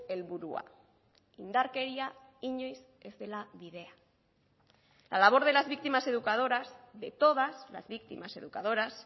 helburua indarkeria inoiz ez dela bidea la labor de las víctimas educadoras de todas las víctimas educadoras